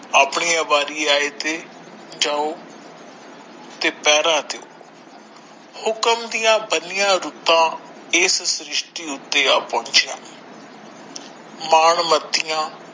ਆਪਣੀ ਵਾਰੀ ਆਏ ਤੇ ਜਾਓ ਤੇ ਪਹਿਰਾ ਦਿਓ ਹੁਕਮ ਦੀਆ ਬਣਿਆ ਰੁੱਤਾਂ ਇਸ ਸ਼੍ਰਿਸ਼ਟੀ ਉੱਥੇ ਆ ਪਹੁੰਚਿਆ ਮਾਣ ਮਤੀਆਂ।